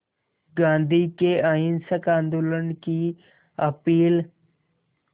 गांधी के अहिंसक आंदोलन की अपील